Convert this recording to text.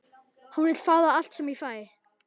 Hún vill fá allt sem ég fæ.